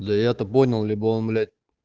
да я-то понял либо он блять